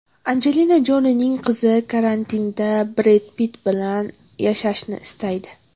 Anjelina Jolining qizi karantinda Bred Pitt bilan yashashni istaydi.